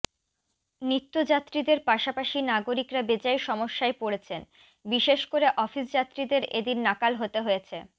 নিত্যযাত্রীদের পাশাপাশি নাগরিকরা বেজায় সমস্যায় পড়েছেন বিশেষ করে অফিসযাত্রীদের এদিন নাকাল হতে হয়েছে